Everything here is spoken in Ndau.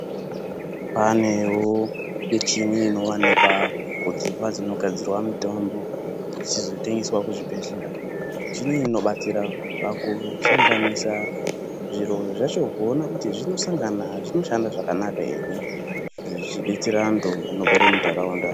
Panewo michini inowanikwa kudzimba dzinogadzirwa mitombo dzichizotengeswa kuzvibhehleya michini iyi inobatsira pakusanganasisa zviro zvacho kuona kuti zvinosangana zvinoshanda zvakanaka ere zvichidetsera anhu anogare munharaunda.